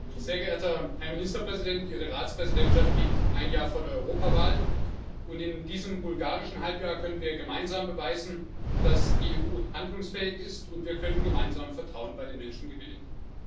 Herr Präsident! Sehr geehrter Herr Ministerpräsident, Ihre Ratspräsidentschaft liegt ein Jahr vor der Europawahl, und in diesem bulgarischen Halbjahr können wir gemeinsam beweisen, dass die EU handlungsfähig ist, und wir können gemeinsam Vertrauen bei den Menschen gewinnen.